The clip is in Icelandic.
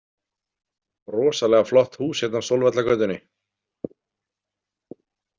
Rosalega flott hús hérna á Sólvallagötunni.